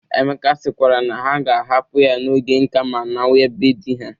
Emeka sịkwara na ha ga-ahapụ ya n'oge nka ma nawa be di ha.